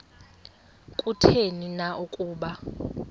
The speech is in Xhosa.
kutheni na ukuba